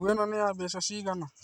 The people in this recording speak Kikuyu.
Nguo ĩno nĩ ya mbeca cigana?